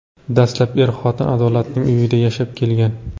Dastlab er-xotin Adolatning uyida yashab kelgan.